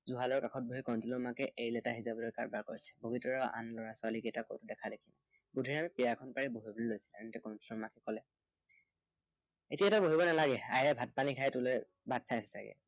জুড়ালৰ কাষত বহি কণটলৌৰ মাকে এৰি লেটা সিঁজাবলৈ যা-যোগাৰ কৰিছে। বগীতৰা আন লৰা-ছোৱালী কেইটোৰ কতো দেখাদেখি নাই। বুদ্ধিৰামে পীৰা এখন পাৰি বহিবলৈ লৈছিল, তেনেতে কণটিলৌৌৰ মাকে কলে। এতিয়া তই বহিব নালাগে, আয়েৰে ভাত-পানী খাই তোলৈ বাট চাই আছে চাগৈ।